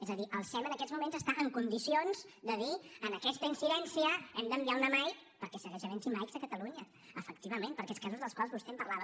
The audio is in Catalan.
és a dir el sem en aquests moments està en condicions de dir en aquesta incidència hem d’enviar una mike perquè segueix havent hi mike a catalunya efectivament per a aquests casos dels quals vostè em parlava